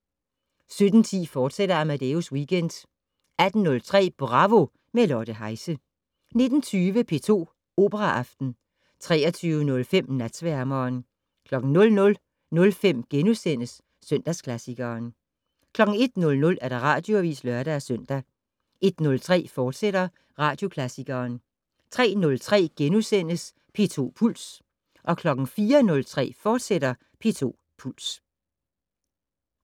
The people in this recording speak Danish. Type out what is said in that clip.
17:10: Amadeus Weekend, fortsat 18:03: Bravo - med Lotte Heise 19:20: P2 Operaaften 23:05: Natsværmeren 00:05: Søndagsklassikeren * 01:00: Radioavis (lør-søn) 01:03: Søndagsklassikeren, fortsat 03:03: P2 Puls * 04:03: P2 Puls, fortsat